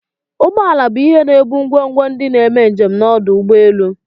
Ụgbọ ala bu ihe ebu ngwogwo ndi n'eme njem n'ọdụ ụgbọ elu.